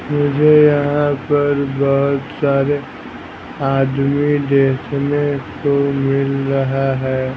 मुझे यहां पर बहुत सारे आदमी देखने को मिल रहा है।